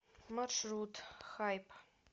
маршрут хайп